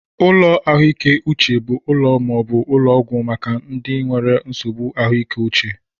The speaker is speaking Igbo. Ụlọ ahụike Uche bu úlò maaobu ụlọ ọgwụ maka ndị nwere nsogbụ ahụike uche.